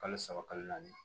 Kalo saba kalo naani